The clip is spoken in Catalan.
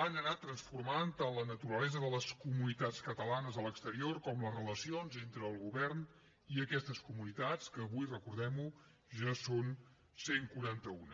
han anat transformant tant la naturalesa de les comunitats catalanes a l’exterior com les relacions entre el govern i aquestes comunitats que avui recordem ho ja són cent i quaranta un